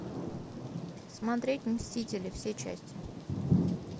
смотреть мстители все части